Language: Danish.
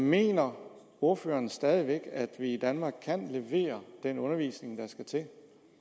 mener ordføreren stadig væk at vi i danmark kan levere den undervisning der skal til